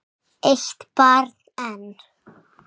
Eitt barn enn?